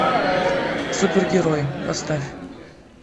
супергерой поставь